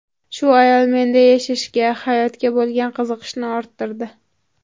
Shu ayol menda yashashga, hayotga bo‘lgan qiziqishni orttirdi.